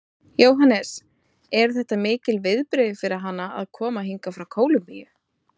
Jóhannes: Eru þetta mikil viðbrigði fyrir hana að koma hingað frá Kólumbíu?